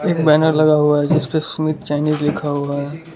एक बैनर लगा हुआ है जिस पे सुमित चाइनीस लिखा हुआ है।